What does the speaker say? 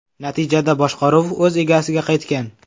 Natijada boshqaruv o‘z egasiga qaytgan.